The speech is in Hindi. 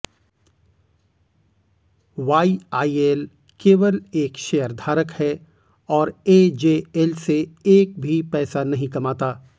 वाईआईएल केवल एक शेयरधारक है और एजेएल से एक भी पैसा नहीं कमाता